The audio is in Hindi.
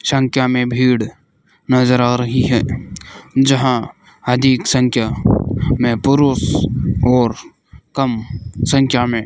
संख्या मे भीड़ नजर आ रही है जहाँ अजीब संख्या में पुरुष और कम संख्या में --